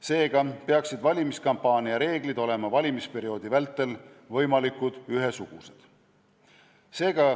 Seega peaksid valimiskampaania reeglid olema valimisperioodi vältel võimalikult ühesugused.